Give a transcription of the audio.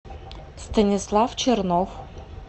станислав чернов